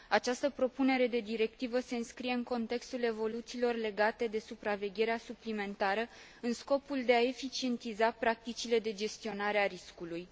Această propunere de directivă se înscrie în contextul evoluțiilor legate de supravegherea suplimentară, în scopul de a eficientiza practicile de gestionare a riscului.